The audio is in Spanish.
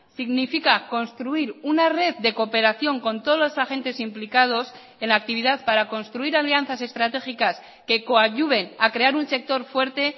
significa construir una red de cooperación con todos los agentes implicados en la actividad para construir alianzas estratégicas que coadyuven a crear un sector fuerte